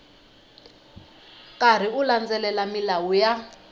karhi u landzelela milawu ya